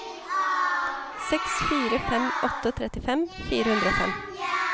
seks fire fem åtte trettifem fire hundre og fem